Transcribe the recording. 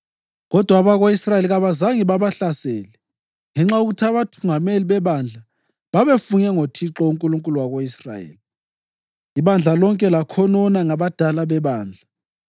Kodwa abako-Israyeli kabazange babahlasele ngenxa yokuthi abathungameli bebandla babefunge ngoThixo, uNkulunkulu wako-Israyeli. Ibandla lonke lakhonona ngabadala bebandla;